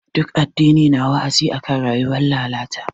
Ɗuk addini na wa'azi akan rayuwar lalata.